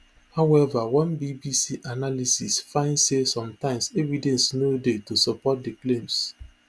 however one bbc analysis find say sometimes evidence no dey to support di claims